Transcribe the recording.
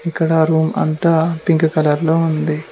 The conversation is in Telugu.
ఇక్కడ రూమ్ అంతా పింక్ కలర్ లో ఉంది.